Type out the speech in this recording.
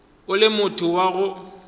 o le motho wa go